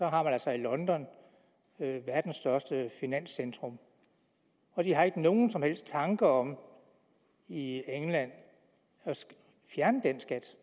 har man altså i london verdens største finanscentrum de har ikke nogen som helst tanker om i england at fjerne den skat